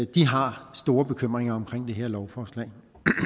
de har store bekymringer omkring det her lovforslag